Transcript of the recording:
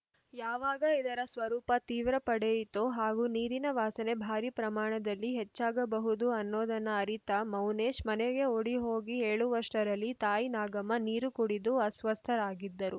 ಯಾವಾಗ ಇದರ ಸ್ವರೂಪ ತೀವ್ರ ಪಡೆಯಿತೋ ಹಾಗೂ ನೀರಿನ ವಾಸನೆ ಭಾರಿ ಪ್ರಮಾಣದಲ್ಲಿ ಹೆಚ್ಚಾಗಬಹುದು ಅನ್ನೋದನ್ನ ಅರಿತ ಮೌನೇಶ ಮನೆಗೆ ಓಡಿ ಹೋಗಿ ಹೇಳುವಷ್ಟರಲ್ಲಿ ತಾಯಿ ನಾಗಮ್ಮ ನೀರು ಕುಡಿದು ಅಸ್ವಸ್ಥರಾಗಿದ್ದರು